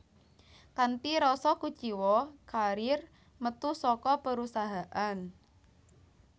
Kanthi rasa kuciwa Carrier metu saka perusahaan